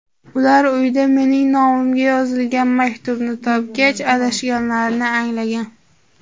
Ular uyda mening nomimga yozilgan maktubni topgach, adashganlarini anglagan.